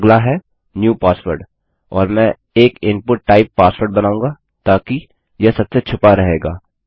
अगला है new password और मैं एक इनपुट टाइप पासवर्ड बनाऊँगा ताकि यह सबसे छुपा रहेगा